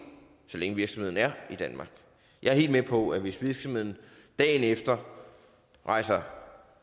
så længe virksomheden er i danmark jeg er helt med på at hvis virksomheden dagen efter rejser